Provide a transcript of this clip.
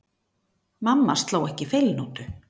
Mamma sló ekki feilnótu.